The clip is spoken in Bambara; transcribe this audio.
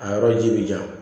A yɔrɔ ji bi jan